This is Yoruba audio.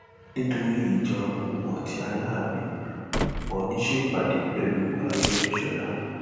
nítorí ìjà òun àti aláàfin oòní ṣèpàdé pẹlú àrégbèsọla